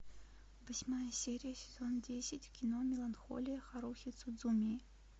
восьмая серия сезон десять кино меланхолия харухи судзумии